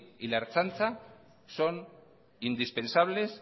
y la ertzaintza son indispensables